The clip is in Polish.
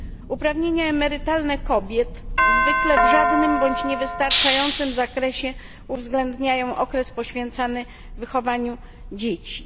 Uprawnienia emerytalne kobiet zwykle w żadnym bądź niewystarczającym zakresie uwzględniają okres poświęcany wychowaniu dzieci.